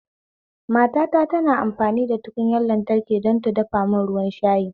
Matata tana amfani da butar lantraki don ta dafa mun ruwan shayi